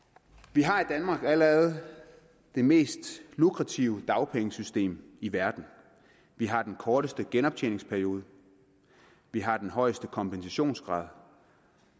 vi har i danmark allerede det mest lukrative dagpengesystem i verden vi har den korteste genoptjeningsperiode vi har den højeste kompensationsgrad